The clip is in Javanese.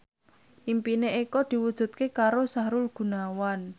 impine Eko diwujudke karo Sahrul Gunawan